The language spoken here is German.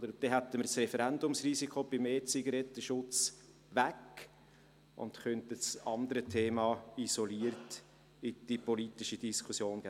Dann hätten wir das Referendumsrisiko beim E-Zigaretten-Schutz weg und könnten das andere Thema isoliert in die politische Diskussion geben.